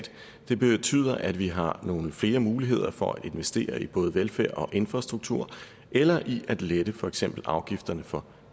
det betyder at vi har nogle flere muligheder for at investere i både velfærd og infrastruktur eller i at lette for eksempel afgifterne for